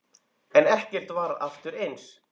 En ekkert varð aftur eins.